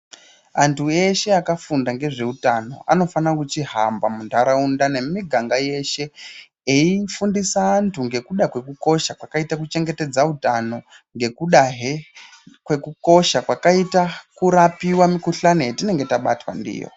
Antu eshe akafunda ngezvehutano anofana kuchihamba mundaraunda nemumiganga yeshe eifundisa antu ngekuda kwekukosha kwakaita kuchengetedza hutano ngekudahe ngekukosha kwakaita kurapiwa mikuhlani yatinenge tabatwa ndiyo.